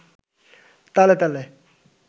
তালে তালে